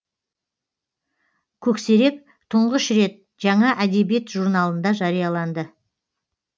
көксерек тұңғыш рет жаңа әдебиет журналында жарияланды